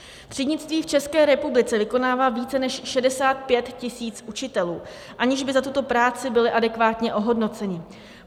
Třídnictví v České republice vykonává více než 65 tisíc učitelů, aniž by za tuto práci byli adekvátně ohodnoceni.